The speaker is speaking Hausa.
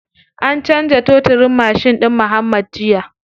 An canza toturin mashin ɗin muuhammad jiya.